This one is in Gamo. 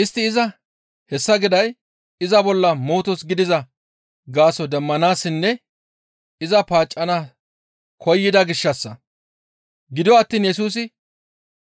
Istti iza hessa giday iza bolla mootos gidiza gaaso demmanaassinne iza paaccana koyida gishshassa. Gido attiin Yesusi